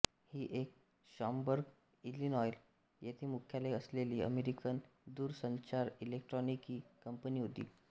ही एक Schaumburg Illinois येथे मुख्यालय असलेली अमेरिकन दूरसंचारइलेक्ट्रॉनिकी कंपनी होती